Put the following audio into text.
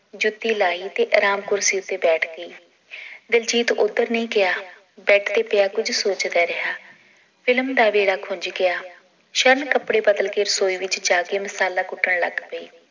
ਜੁੱਤੀ ਲਾਈ ਤੇ ਆਰਾਮ ਕੁਰਸੀ ਤੇ ਬੈਠ ਗਈ ਦਿਲਜੀਤ ਓਧਰ ਨਈ ਗਿਆ ਬੈਡ ਤੇ ਪਿਆ ਕੁਝ ਸੋਚਦਾ ਰਿਹਾ ਫਿਲਮ ਦਾ ਵੇਲਾ ਖੁੰਜ ਗਿਆ ਸ਼ਰਨ ਕਪੜੇ ਬਦਲ ਕੇ ਰਸੋਈ ਵਿਚ ਜਾ ਕੇ ਮਸਾਲਾ ਕੁੱਟਣ ਲੱਗ ਪਈ